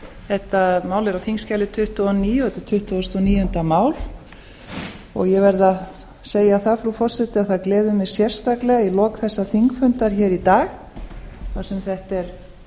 þetta mál er á þingskjali tuttugu og níu og þetta er tuttugasti og níunda mál ég verð að segja það frú forseti að það gleður mig sérstaklega í lok þessa þingfundar hér í dag þar sem þetta er